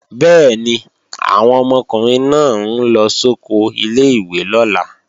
Bẹ́ẹ̀ni, àwọn ọmọkùnrin náà ń lọ sóko ilé-ìwé lọ́la